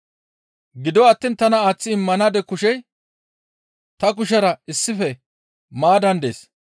«Gido attiin tana aaththi immanaade kushey ta kushera issife maaddan dees.